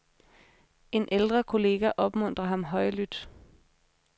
En ældre kollega opmuntrer ham højlydt.